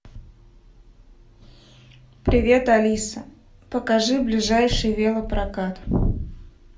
привет алиса покажи ближайший велопрокат